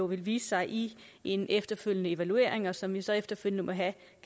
vil vise sig i en efterfølgende evaluering og som vi så efterfølgende